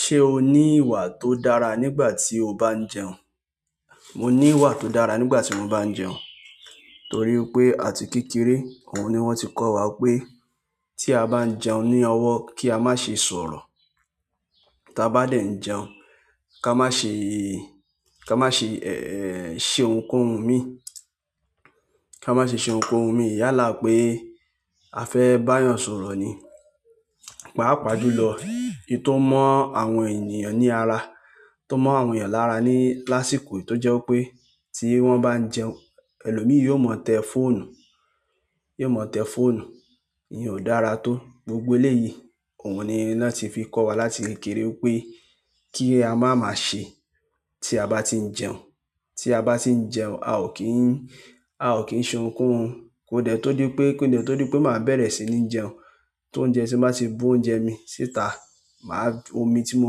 Ṣé o ní ìwà tó dára nígbà tí o bá ń jẹun? Mo ní ìwà tó dára nígbà tí mo bá ń jẹun. Nítorí pé àti kékeré, òhun ni wọ́n ti kọ́ wa pé tí a bá ń jẹun ní ọwọ́ kí a má ṣe sọ̀rọ̀. Tí a bá de n jẹun, ká má ṣe, ká má ṣe, ẹ́, ṣe ohunkóhun mi. Ká má ṣe ṣe ohunkóhun mi yálà pé a fẹ́ bá yan sọ̀rọ̀ ni. Pàápàá ju lọ. Ohun tó mọ́ àwọn ènìyàn ní ara, tó mọ́ àwọn ènìyàn lára ní lásìkò tó jẹ́ pé tí wọ́n bá ń jẹun, ẹlòmíràn yóò mọ̀tẹ fọ́nu. Yóò mọ̀tẹ fọ́nu. Íyèn ó dára tó. Gbogbo eléyìí òhun ni wọ́n ti fi kọ́ wa láti kékeré pé kí a máa máa ṣe tí a bá ti ń jẹun. Tí a bá ti ń jẹun, a ò kí ń, a ò kí ń ṣe ohunkóhun. Kóde tó dí pé, kóde tó dí pé máa bẹ̀rẹ̀ sí ní jẹun, tó oúnjẹ máa tì bu oúnjẹ mi síta. Màá, omi tí mo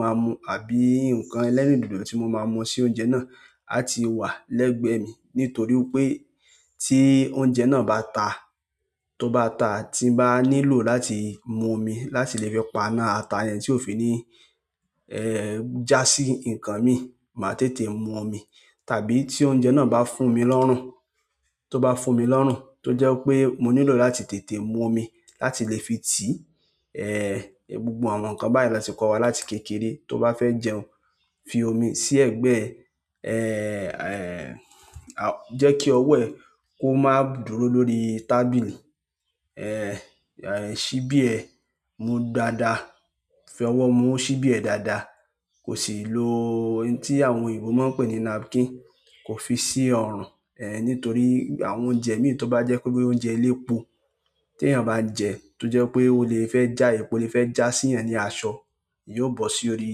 máa mu àbí nǹkan ẹlẹ́rìndòdò tí mo máa mu sí oúnjẹ náà a ti wà lẹ́gbẹ̀ẹ́ mi. Nítorí pé tí oúnjẹ náà bá ta, tó bá ta, tí mo bá nílò láti mu omi láti lè fi pana ata yẹn tí òfin ní, ẹ́, já sí nǹkan mi, màá tètè mu omi. Tàbí tí oúnjẹ náà bá fún mi lọ́rùn, tó bá fún mi lọ́rùn tó jẹ́ pé mo nílò láti tètè mu omi láti lè fi tì í. Ẹ̀, gbogbo àwọn nǹkan báyìí la ti kọ́ wa láti kékeré. Ti o ba fe jẹun fi omi si egbe e je ki owo re ko maa dúró lórí tábìlì ẹ̀, ṣíbí ẹ mu dáadáa. Fọwọ́ mu ṣíbí ẹ dáadáa. Kò sì lo ohun tí àwọn òyìnbó máa pè ní napkin. Kò fi sí ọrùn. Ẹ̀, nítorí àwọn oúnjẹ mí tó bá jẹ́ pé bí oúnjẹ elépo, tí èèyàn bá jẹ tó jẹ́ pé ó lè fẹ́ já e, ó lè fẹ́ já sí i ẹniyan ni aṣọ, yóò bọ́ sí orí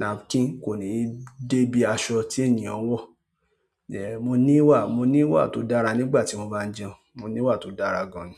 napkin kò ní dé ibí aṣọ tí èèyàn wọ̀. Ẹ̀, mo ní ìwà, mo ní ìwà tó dára nígbà tí mo bá ń jẹun. Mo ní ìwà tó dára gan ni.